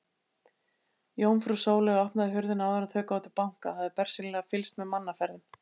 Jómfrú Sóley opnaði hurðina áður en þau gátu bankað, hafði bersýnilega fylgst með mannaferðum.